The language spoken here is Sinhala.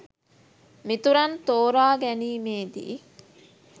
මිතුරන් තෝරා ගැනීමේදී